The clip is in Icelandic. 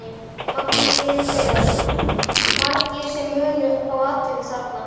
Magnús Hlynur Hreiðarsson: Margir sem munu fá atvinnu þarna?